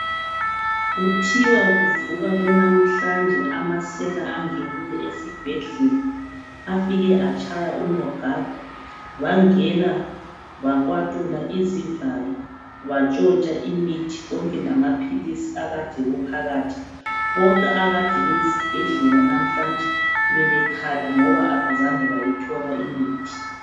Kuthiwa kuvuka kunamhlanje amasela angene esibhedlela. Afike atshaya unogada bangena bakwatula izivalo batshontsha imithi konke lamaphilisi akade kuphakathi. Bonke abakade beyesibhedlela namhlanje bebekhala ngoba abazange bayithola imithi.